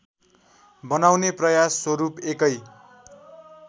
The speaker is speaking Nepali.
बनाउने प्रयास स्वरूप एकै